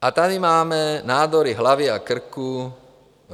A tady máme nádory hlavy a krku.